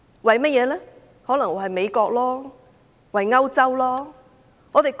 可能是為了美國和歐洲吧？